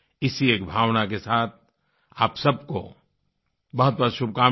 इसी एक भावना के साथ आप सबको बहुतबहुत शुभकामनाएँ